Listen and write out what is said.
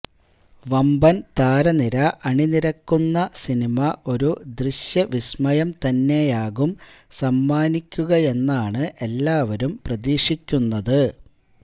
വമ്പന് താരനിര അണിനിരക്കുന്ന സിനിമ ഒരു ദൃശ്യവിസ്മയം തന്നെയാകും സമ്മാനിക്കുകയെന്നാണ് എല്ലാവരും പ്രതീക്ഷിക്കുന്നത്